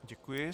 Děkuji.